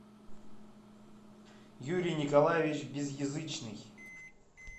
юрий николаевич безъязычный